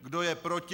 Kdo je proti?